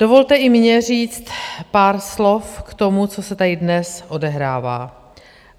Dovolte i mně říct pár slov k tomu, co se tady dnes odehrává.